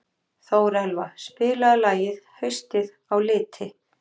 Þórelfa, spilaðu lagið „Haustið á liti“.